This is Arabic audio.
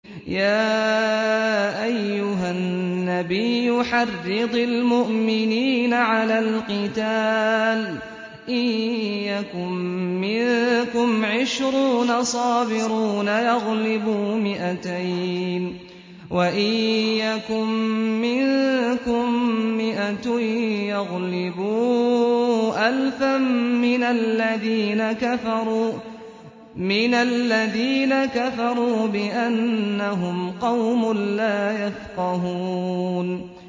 يَا أَيُّهَا النَّبِيُّ حَرِّضِ الْمُؤْمِنِينَ عَلَى الْقِتَالِ ۚ إِن يَكُن مِّنكُمْ عِشْرُونَ صَابِرُونَ يَغْلِبُوا مِائَتَيْنِ ۚ وَإِن يَكُن مِّنكُم مِّائَةٌ يَغْلِبُوا أَلْفًا مِّنَ الَّذِينَ كَفَرُوا بِأَنَّهُمْ قَوْمٌ لَّا يَفْقَهُونَ